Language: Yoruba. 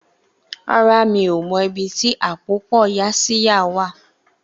Rárá, mi ò mọ ibi tí àpòpọ̀ Yaxiya wà